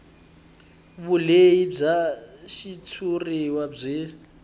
vulehi bya xitshuriwa byi